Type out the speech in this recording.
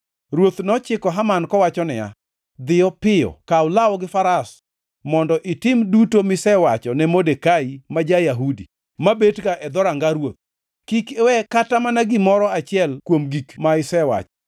Ruoth nochiko Haman kowacho niya, “Dhi piyo.” Kaw law gi faras mondo itim duto misewacho ne Modekai ma ja-Yahudi, mabetga e dhoranga ruoth. Kik iwe kata mana gimoro achiel kuom gik ma isewacho.